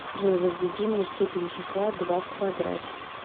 джой возведи мне степень числа два в квадрате